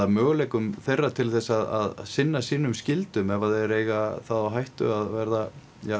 möguleika þeirra til þess að sinna sínum skyldum ef þeir eiga þá hættu að vera